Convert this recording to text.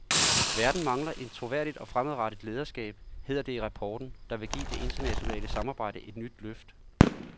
Verden mangler et troværdigt og fremadrettet lederskab, hedder det i rapporten, der vil give det internationale samarbejde et nyt løft.